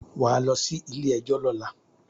Wà á lọ sí ilé-ẹjọ́ lọ́la.